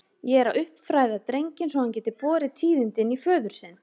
Ég er að uppfræða drenginn svo hann geti borið tíðindin í föður sinn.